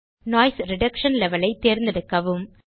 noise reduction level ஐ தேர்ந்தெடுக்கவும்